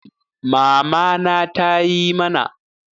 Mamana tayi mana